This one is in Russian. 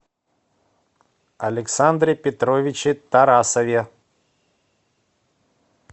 александре петровиче тарасове